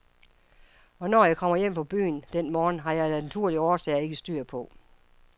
Hvornår jeg kom hjem fra byen den morgen, har jeg af naturlige årsager ikke styr på.